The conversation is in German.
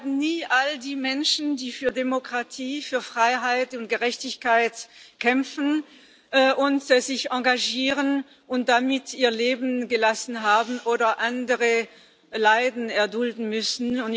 Wir werden nie all die Menschen vergessen, die für Demokratie, Freiheit und Gerechtigkeit kämpfen und sich engagieren und dabei ihr Leben gelassen haben oder andere Leiden erdulden müssen.